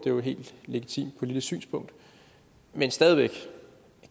jo et helt legitimt politisk synspunkt men